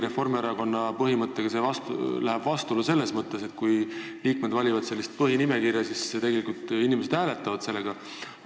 Reformierakonna põhimõttega läheb see küll vastuollu selles mõttes, et kui liikmed valivad põhinimekirja, siis inimesed hääletavad seda.